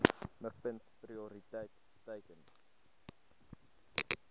mikpunt prioriteit teiken